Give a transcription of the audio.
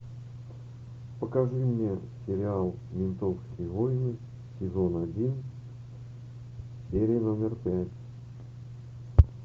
покажи мне сериал ментовские войны сезон один серия номер пять